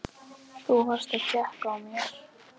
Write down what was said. Þú varst að tékka á mér!